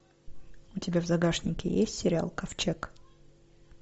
у тебя в загашнике есть сериал ковчег